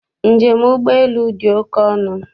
Njem ụgbọelu dị oke ọnụ.